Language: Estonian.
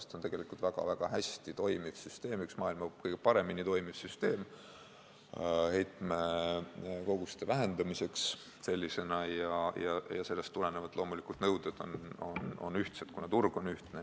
See on tegelikult väga-väga hästi toimiv süsteem, üks maailma kõige paremini toimiv heitekoguste vähendamise süsteem ja nõuded on loomulikult ühtsed, kuna turg on ühtne.